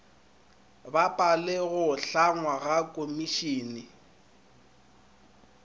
bapale go hlangwa ga komišene